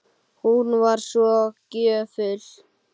Hún var svo gjöful.